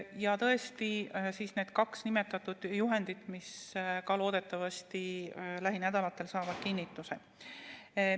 Ja tõesti, need kaks nimetatud juhendit, mis samuti loodetavasti lähinädalatel saavad kinnituse.